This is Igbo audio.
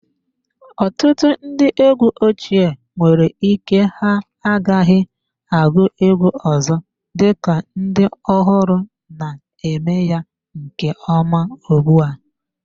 Ọtụtụ ndị egwu ochie nwere ike ha agaghị agụ egwu ọzọ, dịka ndị ọhụrụ na-eme ya nke ọma ugbu a.